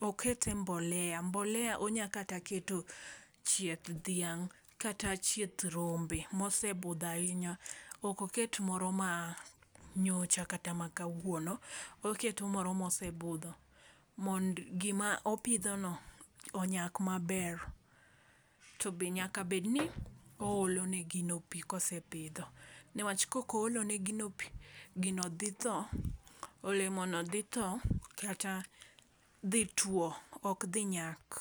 okete e mbolea mbolea onya kata keto, chieth dhiang', kata chieth rombe mosebudho ahinya, okoket moro ma nyocha kata ma kawuono, oketo moro mosebudho. Mond gima opidhono, onyak maber. Tobe nyaka bedni oolo ne gino pii kosepidho, newach kok oolo ne gino pii, gino dhi tho, olemono dhi tho kata dhi tuo, ok dhi nyak